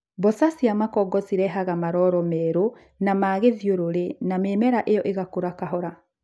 mboca cia makongo cirehaga maroro ma merũ ma gĩthiorũrĩ na mĩmera ĩyo ĩkũraga kahora.